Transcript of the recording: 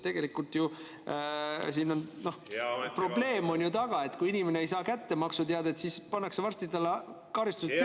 Tegelikult ju siin on ka see probleem, et kui inimene ei saa maksuteadet kätte, siis pannakse varsti talle karistus peale.